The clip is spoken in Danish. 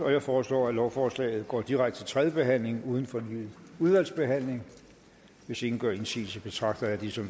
jeg forslår at lovforslaget går direkte til tredje behandling uden fornyet udvalgsbehandling hvis ingen gør indsigelse betragter jeg det som